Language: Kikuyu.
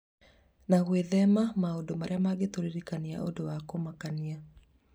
na gwĩthema maũndũ marĩa mangĩtũririkania ũndũ wa kũmakania.